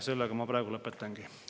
Sellega ma praegu lõpetangi.